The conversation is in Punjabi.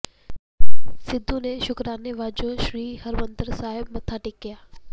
ਸਿੱਧੂ ਨੇ ਸ਼ੁਕਰਾਨੇ ਵਜੋਂ ਸ੍ਰੀ ਹਰਿਮੰਦਰ ਸਾਹਿਬ ਮੱਥਾ ਟੇਕਿਆ